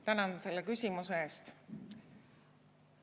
Tänan selle küsimuse eest!